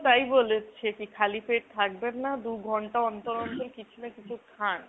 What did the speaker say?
তাই বলেছে। খালি পেট থাকবেন না, দু'ঘন্টা অন্তর অন্তর কিছু না কিছু খান।